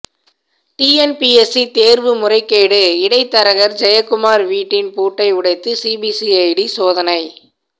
TNPSC தேர்வு முறைகேடு இடைத்தரகர் ஜெயக்குமார் வீட்டின் பூட்டை உடைத்து சிபிசிஐடி சோதனை